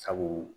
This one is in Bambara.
Sabu